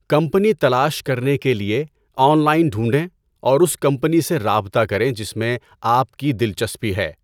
Company تلاش کرنے کے لیے، آن لائن ڈھونڈیں اور اُس کمپنی سے رابطہ کریں جس میں آپ کی دلچسپی ہے۔